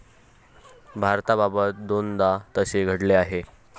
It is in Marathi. भारताबाबत दोनदा तसे घडले आहे.